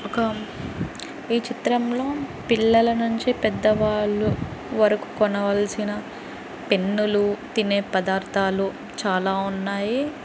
ఈ చిత్రం లో పిల్లలనుంచీ పెద్దవాళ్లు వరుకు కొనవాలిసిన పెన్ లు తినే పదార్ధాలు చాల ఉన్నాయి.